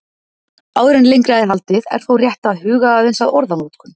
Áður en lengra er haldið er þó rétt að huga aðeins að orðanotkun.